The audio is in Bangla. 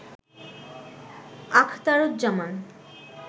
আখতারুজ্জামান